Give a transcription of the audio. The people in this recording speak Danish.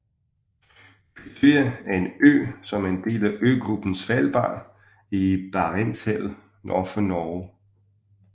Kvitøya er en ø som er en del af øgruppen Svalbard i Barentshavet nord for Norge